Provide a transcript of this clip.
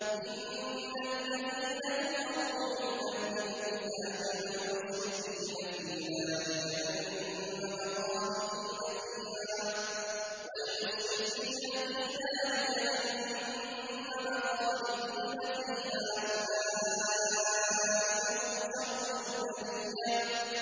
إِنَّ الَّذِينَ كَفَرُوا مِنْ أَهْلِ الْكِتَابِ وَالْمُشْرِكِينَ فِي نَارِ جَهَنَّمَ خَالِدِينَ فِيهَا ۚ أُولَٰئِكَ هُمْ شَرُّ الْبَرِيَّةِ